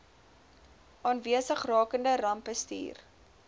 aanwesig rakende rampbestuur